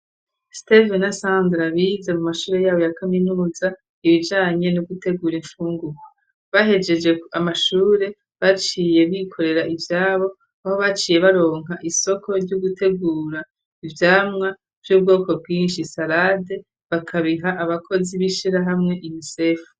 steve na sandra bize mu mashure yabo ya kaminuza ibijanye no gutegura infungurwa bahegeje amashure baciye bikorera ivyabo aho baciye baronka isoko ryo gutegura ivyamwa vy'ubwoko bwishi salade bakabiha abakozi b'ishirahamwe UNCF